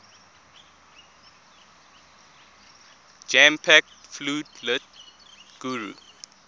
jam packed floodlit guru